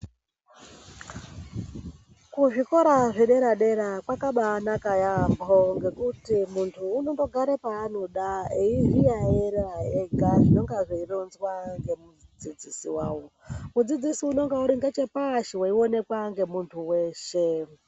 Kuzvikora zvedera dera kwakabaanaka yaamho ngekuti muntu unondogare paanoda eizviyayiyira ega zvinenge zveironzwa ngemudzidzisi wake. Mudzidzisi unenge ari ngechepashi eionekwa ngemuntu weshe.